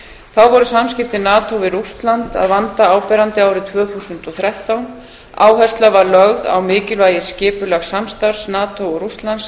þá voru samskipti nato við rússland að vanda áberandi árið tvö þúsund og þrettán áhersla var lögð á mikilvægi skipulegs samstarfs nato og rússlands